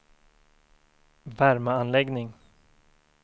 värmeanläggning